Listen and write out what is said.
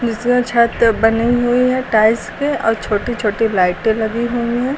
छत बनी हुई है टाइल्स पे और छोटी छोटी लाइटें लगी हुई हैं।